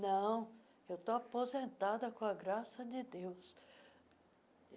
Não, eu tô aposentada, com a graça de Deus.